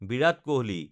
Virat Kohli